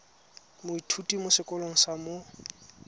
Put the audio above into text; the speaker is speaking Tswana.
moithuti mo sekolong sa mo